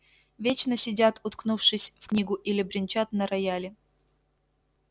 вечно сидят уткнувшись в книгу или бренчат на рояле